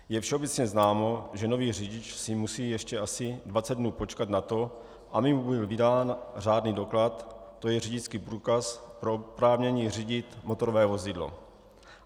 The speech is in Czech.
Je všeobecně známo, že nový řidič si musí ještě asi 20 dnů počkat na to, aby mu byl vydán řádný doklad, to je řidičský průkaz pro oprávnění řídit motorové vozidlo.